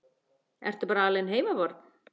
Ertu bara alein heima barn?